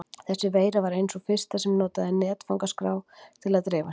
Þessi veira var ein sú fyrsta sem notaði netfangaskrá til að dreifa sér.